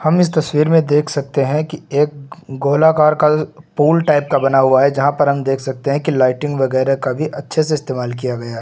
हम इस तस्वीर में देख सकते हैं कि एक गोलाकार का पुल टाइप का बना हुआ है जहां पर हम देख सकते हैं की लाइटिंग वगैरा का भी अच्छे से इस्तेमाल किया गया--